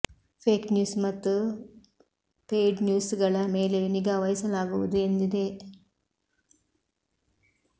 fake news ಮತ್ತು paid news ಗಳ ಮೇಲೆಯೂ ನಿಗಾ ವಹಿಸಲಾಗುವುದು ಎಂದಿದೆ